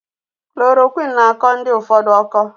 Klorokwin na akọ ndi ụfọdụ ụkọ.